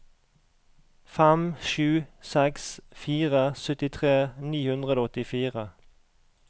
fem sju seks fire syttitre ni hundre og åttifire